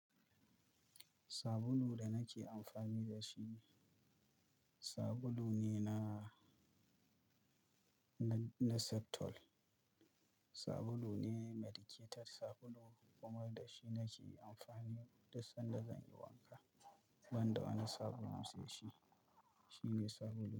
Sabulun da nake amfani da shi, sabulune na, na, na Septol. Sabulu ne, medicated sabulu kuma dashi nake amfani duk sanda zanyi wanka. Banda wani sabulu sai shi, shine sabulun.